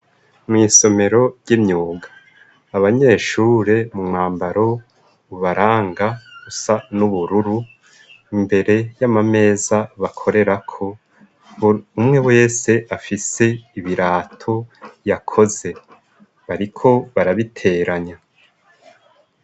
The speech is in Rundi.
Mw'isomero ry'imyuga, abanyeshure mu mwambaro ubaranga usa n'ubururu, imbere y'amameza bakorerako, umwe wese afise ibirato yakoze, bariko barabiteranya.